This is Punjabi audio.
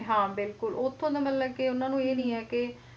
ਹਾਂ ਬਿਲਕੁਲ ਉਥੋਂ ਮਤਲਬ ਉਹਨਾਂ ਨੂੰ ਇਹ ਨਹੀਂ ਆ ਕੇ